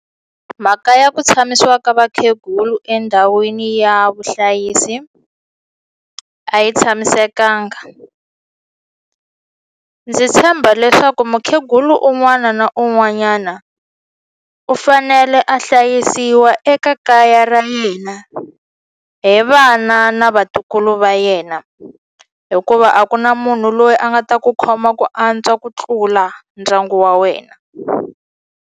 Mhaka ya ku tshamisiwa ka vakhegulu endhawini ya vuhlayisi a yi tshamisekanga ndzi tshemba leswaku mukhegulu un'wana na un'wanyana u fanele a hlayisiwa eka kaya ra yena hi vana na vatukulu va yena hikuva a ku na munhu loyi a nga ta ku khoma ku antswa ku tlula ndyangu wa wena.